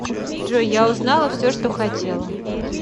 джой я узнала все что хотела